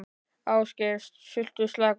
Ásgeir: Sultuslakur?